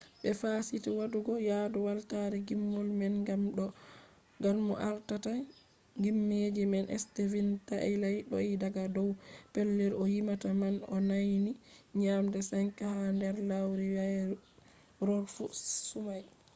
ɓe fasiti waɗugo yadu weltare ngimol man gam mo ardata ngimeji man stevin taila do’i daga dow pellel o yimata man o nauni nyande 5 ha nder lewruwairorfu sumai